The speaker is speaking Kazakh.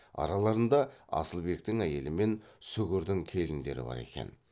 араларында асылбектің әйелі мен сүгірдің келіндері бар екен